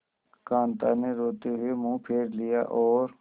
कांता ने रोते हुए मुंह फेर लिया और